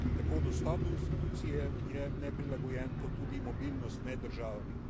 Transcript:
Tako dostop do institucij je neprilagojen kot tudi mobilnost med državami.